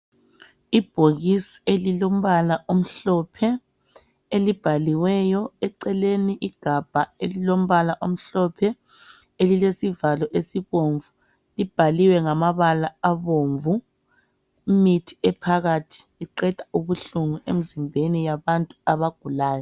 Ibhokisi elilombala omhlophe, elibhaliweyo eceleni. Igabha elilombala omhlophe elilesivalo esibomvu, libhaliweyo ngamabala abomvu. Imithi ephakathi iqeda ubuhlungu emzimbeni yabantu abagulayo.